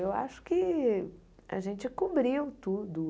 Eu acho que a gente cobriu tudo.